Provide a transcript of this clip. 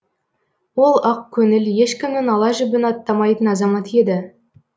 ол ақкөңіл ешкімнің ала жібін аттамайтын азамат еді